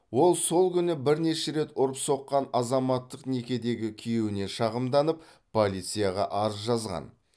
ол сол күні бірнеше рет ұрып соққан азаматтық некедегі күйеуіне шағымданып полицияға арыз жазған